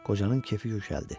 Qocanın kefi yüksəldi.